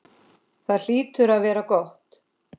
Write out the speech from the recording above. Það hlýtur að vera gott.